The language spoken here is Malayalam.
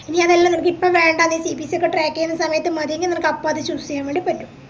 ഇനിയതല്ല നിനക്കിപ്പോ വേണ്ടാ നീ CPC ഒക്കെ track ചെയ്യുന്ന സമയത് മതിയെങ്കി നിനക്കപ്പത് choose ചെയ്യാൻ വേണ്ടി പറ്റും